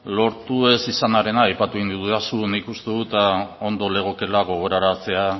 lortu ez izanarena aipatu egin didazu nik uste dut ondo legokeela gogoraraztea